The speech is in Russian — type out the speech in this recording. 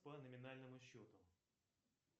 по номинальному счету